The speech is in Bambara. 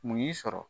Mun y'i sɔrɔ